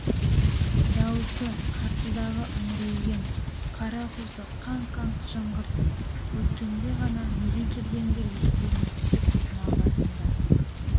дауысы қарсыдағы үңрейген қара құзды қаңқ-қаңқ жаңғыртып өткенде ғана неге келгендер естеріне түсіп тұма басында